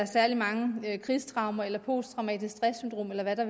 særlig mange krigstraumer eller posttraumatisk stress syndrom eller hvad det